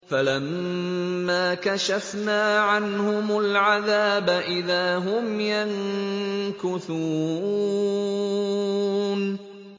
فَلَمَّا كَشَفْنَا عَنْهُمُ الْعَذَابَ إِذَا هُمْ يَنكُثُونَ